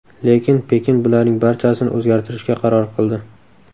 Lekin Pekin bularning barchasini o‘zgartirishga qaror qildi.